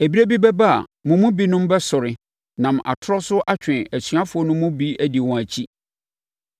Ɛberɛ bi bɛba a, mo mu binom bɛsɔre, nam atorɔ so atwe asuafoɔ no mu bi adi wɔn akyi.